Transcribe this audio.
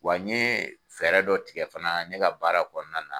Wa n ye fɛɛrɛ dɔ tigɛ fana ne ka baara kɔnɔna na.